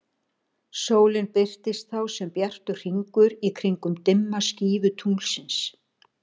Sólin birtist þá sem bjartur hringur í kringum dimma skífu tunglsins.